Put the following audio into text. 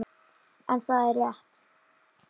En það er rétt.